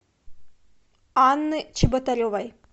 анны чеботаревой